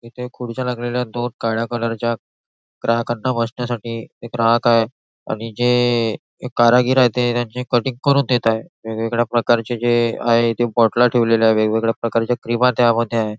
इथे खुर्च्या टाकलेल्या दोन काळा कलरच्या ग्राहकांना बसण्यासाठी एक ग्राहक आहे आणि जे कारागीर आहे ते त्यांचे कटिंग करून देत आहे वेगवेगळ्या प्रकारचे जे आहे ते बोटला ठेवलेले आहे वेगवेगळ्या प्रकारच्या क्रीम त्या मध्ये आहे.